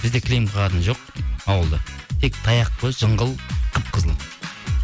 бізде кілем қағатын жоқ ауылда тек таяқ қой жыңғыл қып қызыл